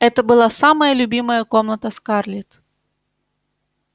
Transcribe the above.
это была самая любимая комната скарлетт